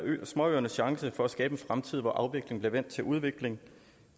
småøernes chance for at skabe en fremtid hvor afvikling bliver vendt til udvikling